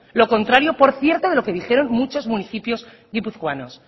lo contrario por cierto de lo que dijeron muchos municipios guipuzcoanos